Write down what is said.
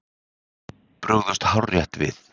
Brugðust hárrétt við